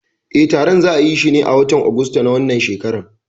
Eh, taron za'ayishi ne a watan Ogosta na wannan shekarar.